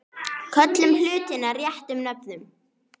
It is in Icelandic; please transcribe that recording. Köllum hlutina sínum réttu nöfnum.